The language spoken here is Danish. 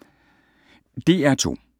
DR2